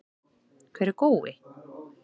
Hver er Gói?